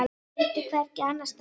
Vildi hvergi annars staðar vera.